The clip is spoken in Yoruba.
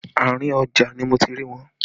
Àárín ọjà ni mo ti rí wọn